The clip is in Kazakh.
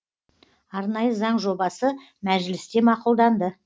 арнайы заң жобасы мәжілісте мақұлданды